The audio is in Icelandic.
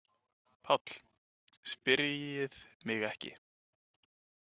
PÁLL: Spyrjið mig ekki.